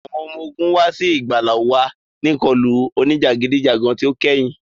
Awọn ọmọ ogun wa si igbala wa ni ikọlu onijagidijagan ti o kẹhin.